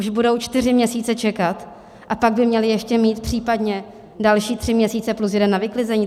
Už budou čtyři měsíce čekat, a pak by měli ještě mít případně další tři měsíce plus jeden na vyklizení?